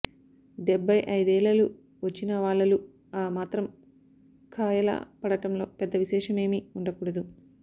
డెబ్భైఐదేళళు వచ్చినవాళళు ఆ మాత్రం ఖాయలా పడటంలో పెద్ద విశేషమేమి వుండకూడదు